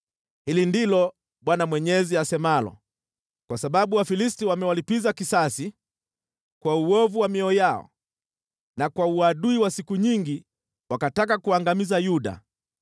“Hili ndilo Bwana Mwenyezi asemalo: ‘Kwa sababu Wafilisti wamewalipiza kisasi kwa uovu wa mioyo yao na kwa uadui wa siku nyingi wakataka kuangamiza Yuda,